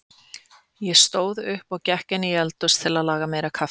Ég stóð upp og gekk inn í eldhús að laga meira kaffi.